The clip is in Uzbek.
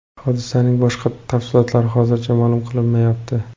Hodisaning boshqa tafsilotlari hozircha ma’lum qilinmayapti.